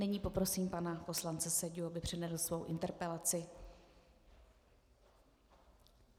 Nyní poprosím pana poslance Seďu, aby přednesl svoji interpelaci.